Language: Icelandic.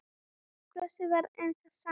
Brosið var enn það sama.